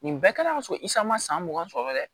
Nin bɛɛ kɛlen don ka so isa ma san mugan sɔrɔ dɛ